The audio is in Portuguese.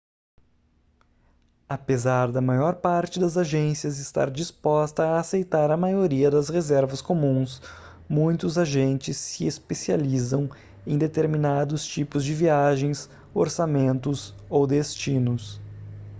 apesar da maior parte das agências estar disposta a aceitar a maioria das reservas comuns muitos agentes se especializam em determinados tipos de viagens orçamentos ou destinos